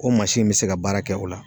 O mansin bɛ se ka baara kɛ o la.